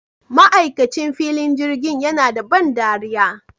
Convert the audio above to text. Ma'aikacin filin jirgin yana da ban ɗariya